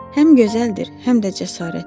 Həm gözəldir, həm də cəsarətli.